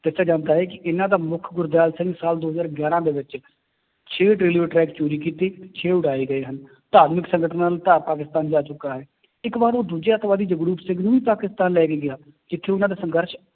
ਦੱਸਿਆ ਜਾਂਦਾ ਹੈ ਕਿ ਇਹਨਾਂ ਦਾ ਮੁੱਖ ਗੁਰਦਿਆਲ ਸਿੰਘ ਸਾਲ ਦੋ ਹਜ਼ਾਰ ਗਿਆਰਾਂ ਦੇ ਵਿੱਚ ਛੇ railway track ਚੋਰੀ ਕੀਤੇ, ਛੇ ਉਡਾਏ ਗਏ ਹਨ, ਧਾਰਮਿਕ ਸੰਗਠਨਾਂ ਨੂੰ ਪਾਕਿਸਤਾਨ ਜਾ ਚੁੱਕਾ ਹੈ, ਇੱਕ ਵਾਰ ਉਹ ਦੂਜੇ ਆਤੰਕਵਾਦੀ ਜਗਰੂਪ ਸਿੰਘ ਨੂੰ ਵੀ ਪਾਕਿਸਤਾਨ ਲੈ ਕੇ ਗਿਆ, ਜਿੱਥੇ ਉਹਨਾਂ ਦਾ ਸੰਘਰਸ਼